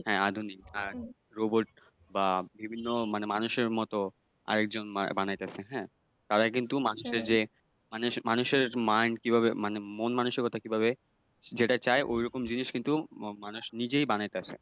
হ্যাঁ আধুনিক আর robot বা বিভিন্ন মানুষের মতো আরেকজন বানাইতাছেন হ্যাঁ তারা কিন্তু মানুষের যে মানুষের mind কিভাবে মানে মন মানসিক কিভাবে যেটা চায় ওইরকম জিনিস কিন্তু মানুষ নিজেই বানাইতাছে